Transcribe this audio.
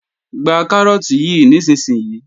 Gba Kárọ́ọ̀tì yí nísinsìnyí!